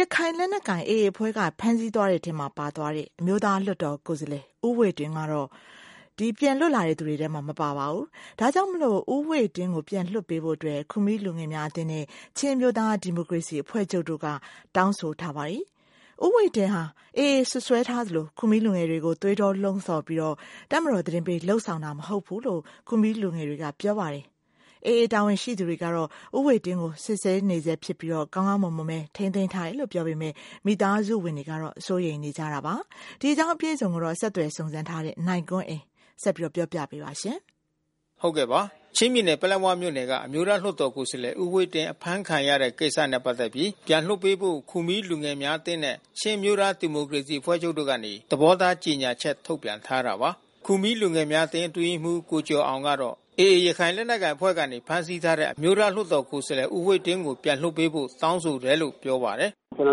ရခိုင်လက်နက်ကိုင်AA အဖွဲ့ကနေဖမ်းဆီးသွားတဲ့ အမျိုးသားလွှတ်တော်ကိုယ်စားလှယ် ဦးဝှေ့တင်းကိုပြန်လွှတ်ပေးဖို့ ခူမီးလူငယ်များအသင်းနဲ့ ချင်းအမျိုးသားဒီမိုကရေစီအဖွဲ့ချုပ်တို့ကနေ သဘောထားထုတ်ပြန်တောင်းဆိုထားတာပါ။ ဦးဝှေ့တင်းဟာ AA စွပ်စွဲထားသလို ခူမီးလူငယ်တွေကို သွေးထိုးလှုံ့ဆော်ပြီး တပ်မတော်သတင်းပေး လုပ်ဆောင်တာ မဟုတ်ဘူးလို့ ခူမီးလူငယ် တာဝန်ရှိသူတွေက ဆိုပါတယ်။ AA တာဝန်ရှိသူကတော့ ဦးဝှေ့တင်းကိုစစ်ဆေးနေဆဲဖြစ်ပြီး ကောင်းမွန်စွာ ထိန်းသိမ်းထားတယ်လို့ပြောပေမဲ့ မိသားစုဝင်တွေကစိုးရိမ်နေကြတာပါ။ အပြည့်အစုံကိုဆက်သွယ်စုံစမ်း ထားတဲ့ နိုင်ကွန်းအိန်ကနေ သတင်းပေးပို့ထားပါတယ်။ ချင်းပြည်နယ် ပလက်ဝမြို့နယ်က အမျိုးသားလွှတ်တော် ကိုယ်စားလှယ်ဦးဝှေ့တင်း အဖမ်းခံရတဲ့ကိစ္စနဲ့ပက်သက်ပြီး ပြန်လွှတ်ပေးဖို့ ခူမီးလူငယ်များ အသင်းနဲ့ ချင်းအမျိုးသားဒီမိုကရေစီအဖွဲ့ချုပ်တို့ကနေ သဘောထားကြေညာ ချက် ထုတ်ပြန်ထားတာပါ။ ခူမီးလူငယ်များအသင်းအတွင်းရေးမှူး ကိုကျော်အောင်ကတော့ AAရခိုင်လက်နက်ကိုင်အဖွဲ့ကနေဖမ်းဆီးထားတဲ့ အမျိုးသားလွှတ်တော်ကိုယ်စားလှယ်ဦးဝှေ့တင်းကိုပြန်လွှတ်ပေးဖို့တောင်းဆိုတယ်လို့ပြောပါတယ်။ “ကျွန်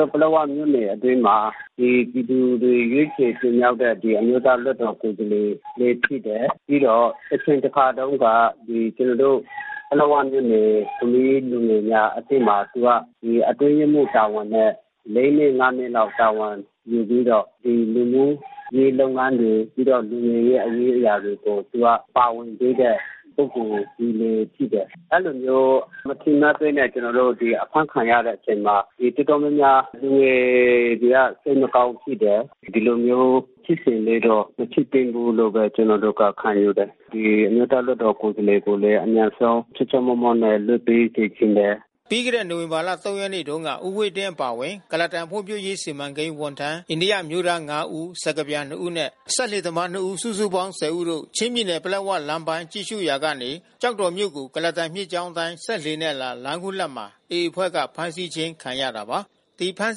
နော်တို့ပလက်ဝမြို့နယ်အတွင်းမှာ ဒီ ပြည်သူတွေရွေးချယ်တင်မြောက်တဲ့ အမျိုးသားလွှတ်တော်ကိုယ်စားလှယ် လဲဖြစ်တယ်။ ပြီးတော့တချိန်တခါတုန်းကကျွန်နော်တို့ ပလက်၀ မြို့နယ် ခူမီးလူငယ်များအသင်းမှာ သူကအတွင်းရေးမှူး တာဝန်နဲ့ နှစ် နှစ်လောက် တာဝန်ယူပြီးတော့ လူမျိုးရေးလုပ်ငန်းတွေ ပြီးတော့လူငယ်ရဲ့ရေးရာလုပ်ငန်းတွေကို သူက ပါဝင်ခဲ့တဲ့ ပုဂ္ဂိုလ်တဦးလဲဖြစ်တယ်။ အဲဒီလိုမျိုးမထင်မှတ်ဘဲနဲ့ကျွန်တော်တို့ အဖမ်းခံရတဲ့အချိန်မှာ တော်တော်များ များ လူငယ်တွေကစိတ်မကောင်းဖြစ်တယ်။ ဒီလိုမျိုးဖြစ်စဉ်လေးတော့ မဖြစ်သင့်ဘူးလို့ဘဲ ကျွန်နော်တို့တော့ခံယူတယ်။ ဒီအမျိုးသား လွှတ်တော်ကိုယ်စားလှယ်ကိုလဲ အမြန်ဆုံးချောချောမောမောနဲ့လွှတ်ပေးစေချင်တယ်။” ပြီးခဲ့တဲ့ နိုဝင်ဘာလ ရက်နေ့တုန်းက ဦးဝှေ့တင်းအပါဝင် ကုလားတန်ဖွံ့ဖြိုးရေး စီမံကိန်းဝန်ထမ်းအိန္ဒိယ အမျိုးသား ဦး စကားပြန် ဦးနဲ့ စက်လှေသမားနှစ်ဦး စုစုပေါင်း ဦးတို့ ချင်းပြည်နယ်၊ ပလက်ဝလမ်းပိုင်းကြည့်ရှုရာကနေ ကျောက်တော်မြို့ကို ကုလားတန်မြစ်ကြောင်းအတိုင်းစက်လှေနဲ့အလာ လမ်းခုလတ်မှာ AAအဖွဲ့ကနေဖမ်းဆီးခြင်း ခံရတာပါ။ ဒီဖမ်း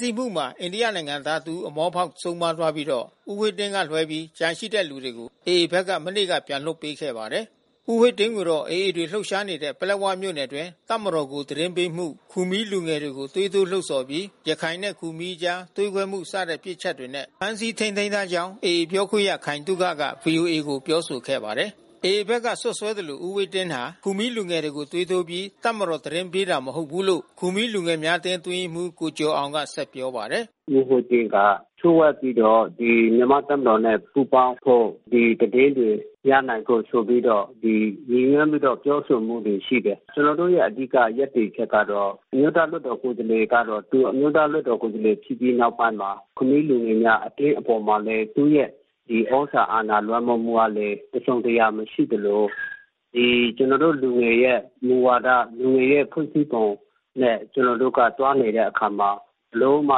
ဆီးမှုမှာ အိန္ဒိယနိုင်ငံသားတဦးအမောဖောက်ဆုံးပါးသွားပြီးတော့ ဦးဝှေ့တင်းကလွှဲပြီးကျန်တဲ့သူတွေကို AAဖက် ကနေ မနေ့ကပြန်လွှတ်ပေးခဲ့ပါတယ်။ ဦးဝှေ့တင်းကိုတော့ AAတပ်တွေလှုပ်ရှားနေတဲ့ပလက်ဝမြို့နယ်အတွင်း တပ်မတော်ကိုသတင်းပေးမှု ခူမီးလူငယ်တွေ ကို သွေးထိုးလှုံ့ဆော်ပြီး ရခိုင်နဲ့ခူမီးအကြားသွေးခွဲမှု စတဲ့ပြစ်ချက်တွေနဲ့ ဖမ်းဆီးထိန်းသိမ်း ထားကြောင်း AAပြောခွင့်ရ ခိုင်သုခက ဗွီအိုအေကိုပြောဆိုခဲ့ပါတယ်။ AAဖက်ကစွပ်စွဲသလို ဦးဝှေ့တင်းဟာ ခူမီးလူငယ်တွေကိုသွေးထိုးပြီး တပ်မတော် သတင်းပေးတာမဟုတ်ဘူးလို့ ခူမီးလူ ငယ်များအသင်းအတွင်းရေးမှူး ကိုကျော်အောင်က ဆက်ပြောပါတယ်။ “ဦးဝှေ့တင်းက လျှို့ဝှက်ပြီးတော့ မြန်မာ့တပ်မတော်နဲ့ပူးပေါင်းဖို့ ဒီသတင်းတွေ ရနိုင်ဖို့ဆိုပြီးတော့ ရည်ညွှန်းပြီးတော့ ပြောဆို တာရှိတယ်။ ကျွန်နော်တို့ရဲ့ အဓိက ရပ်တည်ချက်ကတော့ အမျိုးသားလွှတ်တော်ကိုယ်စားလှယ်ကတော့ သူအမျိုးသားလွှတ်တော် ကိုယ်စားလှယ်ဖြစ်ပြီးနောက်ပိုင်း ခူမီးလူငယ်များအသင်းအပေါ်မှာလဲ သူ့ရဲ့သြဇာအာဏာ လွှမ်းမိုးမှုကလဲ တစုံတရာမရှိသလို လူငယ်ရဲ့မူဝါဒ လူငယ်ရဲ့ဖွဲ့စည်းပုံနဲ့ကျွန်နော်တို့က သွားနေတဲ့ အခါ မှာ ဘယ်လိုမှ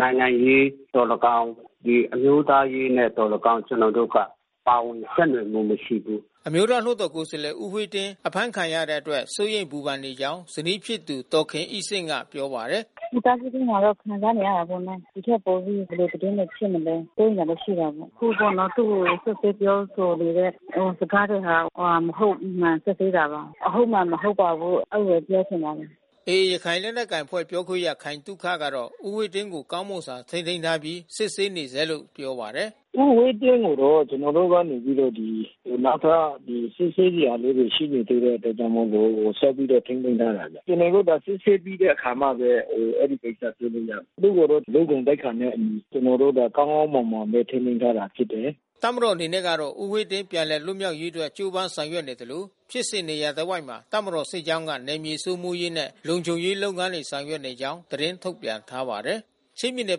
နိုင်ငံရေးသော်၎င်း အမျိုးသားရေးနဲ့သော်၎င်း ကျွန်တော်တို့က ပါဝင် ယှက်နွယ်မှုမရှိဘူး။” အမျိုးသားလွှတ်တော်ကိုယ်စားလှယ်ဦးဝှေ့တင်းအဖမ်းခံရတဲ့အတွက်စိုးရိမ်ပူပန်နေကြောင်းဇနီးဖြစ်သူဒေါ်ခင်အိဆင့်ကပြောပါတယ်။ “မိသားစုအတွင်းမှာတော့ခံစားနေရတာပေါ့နော်။ ဒီထက်ပိုပြီးဘယ်လိုသတင်းတွေဖြစ်မလဲ စိုးရိမ်တာတော့ရှိတာပေါ့။ အခုပေါ့နော် သူ့ကိုစွပ်စွဲပြောဆိုနေတဲ့ စကားတွေဟာ မဟုတ်မမှန် စွပ်စွဲတာပါ။ အဟုတ်အမှန် မဟုတ်ပါဘူး အဲဒီလို ပြောချင်ပါတယ်။” AAရခိုင်လက်နက်ကိုင်အဖွဲ့ပြောခွင့်ရခိုင်သုခကတော့ ဦးဝှေ့တင်းကို ကောင်းမွန်စွာထိန်းသိမ်းထားပြီး စစ်ဆေး နေဆဲ လို့ပြောပါတယ်။ “ဦးဝှေ့တင်းကိုတော့ ကျွန်နော်တို့ကနေပြီးတော့ နောက်ထပ်စစ်ဆေးစရာ လေးတွေရှိနေသေးတဲ့အတွက်ကြောင့်မို့လို့ ဆက်ပြီးတော့ထိန်းသိမ်းထားတာဗျ။ ကျွန်တော်တို့က စစ်ဆေးပြီးတဲ့အခါမှဘဲ အဲဒီကိစ္စဆွေးနွေးရမယ်။ သူ့ကိုတော့လ ူ့ ဂုဏ်သိက္ခာနဲ့အညီ ကျွန်တော်တို့က ကောင်းကောင်းမွန်မွန်နဲ့ထိန်းသိမ်းထားတာဖြစ်တယ်။” တပ်မတော်အနေနဲ့ကတော့ ဦးဝှေ့တင်းပြန်လည်လွတ်မြောက်ရေး အတွက် ကြိုးပမ်းဆောင်ရွက် နေသလို ဖြစ်စဉ်နေရာ တစ်ဝိုက်မှာ တပ်မတော်စစ်ကြောင်းက နယ်မြေစိုးမိုးရေးနဲ့ လုံခြုံရေး လုပ်ငန်းတွေဆောင်ရွက်နေကြောင်း သတင်းထုတ်ပြန်ထားပါတယ်။ ချင်းပြည်နယ်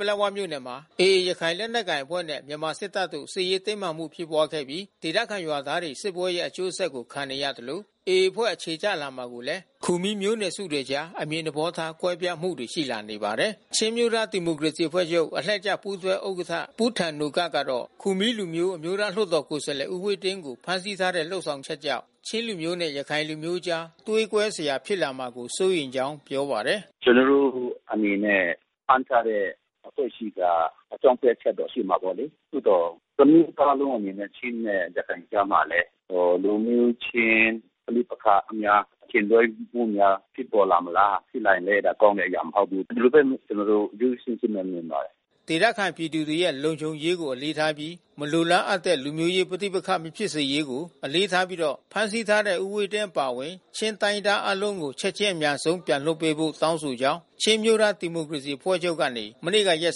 ပလက်ဝမြို့နယ်မှာ AAရခိုင်လက်နက်ကိုင်အဖွဲ့နဲ့ မြန်မာစစ်တပ်တို့ စစ်ရေးတင်းမာမှုဖြစ်ပွားခဲ့ပြီး ဒေသခံ ရွာသားတွေ စစ်ပွဲရဲ့အကျိုးဆက်ကိုခံနေရသလို AAအဖွဲ့ အခြေချလာမှုကိုလဲ ခူမီးမျိုးနွယ်စုတွေအကြား အမြင်သဘော ထားကွဲပြားမှုတွေရှိလာနေပါတယ်။ ချင်းအမျိုးသားဒီမိုကရေစီအဖွဲ့ချုပ်အလှည့်ကျပူးတွဲဥက္ကဌ ပူးထန်နိုကပ်ကတော့ ခူမီးလူမျိုး အမျိုးသားလွှတ်တော် ကိုယ်စားလှယ် ဦးဝှေ့တင်းကိုဖမ်းဆီးထားတဲ့လုပ်ဆောင်ချက်ကြောင့် ချင်းလူမျိုးနဲ့ ရခိုင်လူမျိုးအကြားသွေးကွဲစရာ ဖြစ်လာမှာကိုစိုးရိမ်ကြောင်းပြောပါတယ်။ “ကျွန်တော်တို့အနေနဲ့ ဖမ်းထားတဲ့အဖွဲ့အစည်းက အကြောင်းပြချက်တော့ရှိမှာပေါ့လေ။ သို့သော် တမျိုးသားလုံး ချင်းနဲ့ရခိုင်ကြားမှာလဲ လူမျိုးချင်း ပဋိပက္ခများ အထင်လွှဲမှုများ ဖြစ်ပေါ်လာမလား။ ဖြစ်လာရင် ကောင်းတဲ့အရာမဟုတ် ဘူး။ ဒီလိုဘဲကျွန်တော်တို့ရိုးရိုးရှင်းရှင်းနဲ့မြင်ပါတယ်။” ဒေသခံပြည်သူတွေရဲ့လုံခြုံရေးကိုအလေးထားပြီး မလိုလားအပ်တဲ့ လူမျိုးရေးပဋိပက္ခ မဖြစ်စေရေးကို အလေးထား ပြီးတော့ ဖမ်းဆီးထားတဲ့ ဦးဝှေ့တင်းအပါဝင်ချင်းတိုင်းရင်းသားအားလုံးကို ချက်ချင်း အမြန်ဆုံး ပြန်လွှတ်ပေးဖို့တောင်း ဆိုကြောင်း ချင်းအမျိုးသားဒီမိုကရေစီအဖွဲ့ချုပ်ကနေ မနေ့ကရက်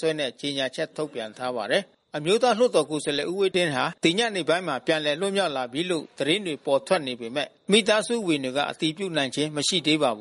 စွဲနဲ့ကြေညာချက်ထုတ်ပြန်ထားပါတယ်။ အမျိုးသားလွှတ်တော် ကိုယ်စားလှယ် ဦးဝှေ့တင်းဟာ ဒီညနေပိုင်းမှာ ပြန်လည် လွတ်မြောက်လာပြီးလို့ သတင်းတွေပေါ် ထွက်နေပေမဲ့ မိသားစုဝင်တွေက အတည်ပြုနိုင်ခြင်း မရှိသေးပါဘူး